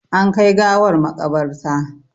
An kai gawar maƙabarta.